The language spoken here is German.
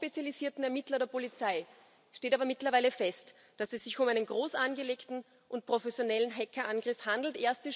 Für die hochspezialisierten Ermittler der Polizei steht aber mittlerweile fest, dass es sich um einen groß angelegten und professionellen Hackerangriff handelt.